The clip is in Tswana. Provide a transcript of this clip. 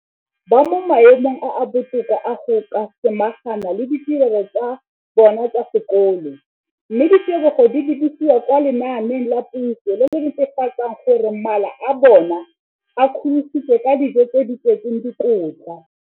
Dikolo tsa puso mo Aforika Borwa ba mo maemong a a botoka a go ka samagana le ditiro tsa bona tsa sekolo, mme ditebogo di lebisiwa kwa lenaaneng la puso le le netefatsang gore mala a bona a kgorisitswe ka dijo tse di tletseng dikotla.